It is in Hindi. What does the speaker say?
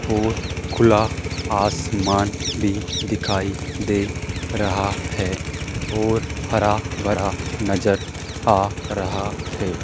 और खुला आसमान भी दिखाई दे रहा है और हरा भरा नजर आ रहा है।